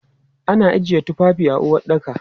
Ana ajiyan tufafi a uwaɗɗaka.